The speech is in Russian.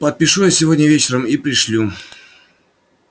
подпишу я сегодня вечером и пришлю